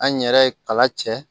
An yɛrɛ ye kala cɛ